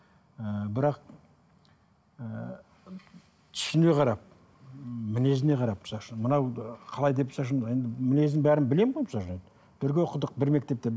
і бірақ і түсіне қарап мінезіне қарап мынау қалай деп мінезін бәрін білемін ғой бірге оқыдық бір мектепте